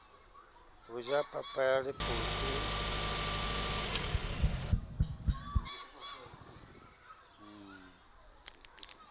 ho ja papa ya lephotho